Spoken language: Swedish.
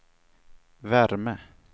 värme